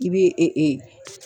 I bɛ